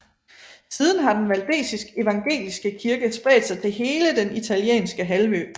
Siden har den valdesisk evangeliske kirke spredt sig til hele den Italienske halvø